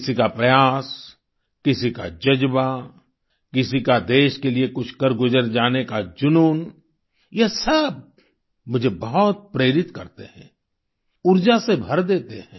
किसी का प्रयास किसी का जज़्बा किसी का देश के लिए कुछ कर गुजर जाने का जुनून यह सब मुझे बहुत प्रेरित करते है ऊर्जा से भर देते हैं